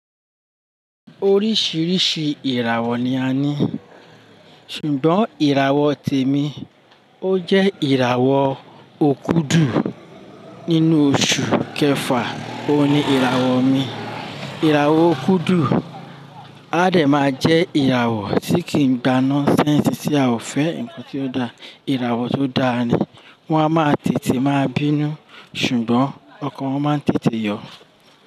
Oríṣìíríṣìí ìràwọ̀ ni a ní, ṣùgbọ́n ìràwọ̀ tèmi, ó jẹ́ ìràwọ̀ òkudu nínú oṣù kẹfà, òun ni ìràwọ̀ mi. Ìràwọ̀ òkudu á dẹ̀ máa jẹ́ ìràwọ̀ tí kì í gba nonsense tí a ò fẹ́ ǹkan tí ó da. Ìràwọ̀ tó dáa ni, wọ́n á máa tètè máa bínú, ṣùgbọ́n ọkàn wọ́n máa ń tètè yọ.